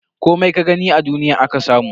Komai ka gani a duniya aka samu.